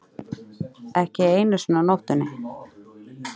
Ekki einu sinni á nóttunni.